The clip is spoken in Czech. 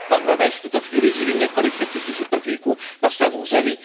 Bangladéš v tuto chvíli živí několik set tisíc uprchlíků na svém území.